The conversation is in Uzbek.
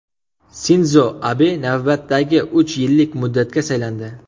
Sindzo Abe navbatdagi uch yillik muddatga saylandi.